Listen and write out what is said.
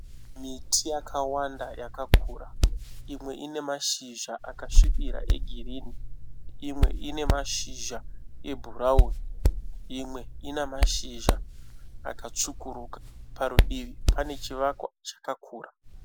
Miti yakawanda yakakura. Imwe inemashizha akasvibira egirini. Imwe inemashizha ebhurauni. Imwe inamashinja akatsvukuruka, parudivi pane chivakwa chakakura.